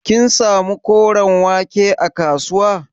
Kin samu koren wake a kasuwa?